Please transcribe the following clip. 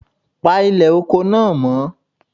Pa ilè oko náà mọ́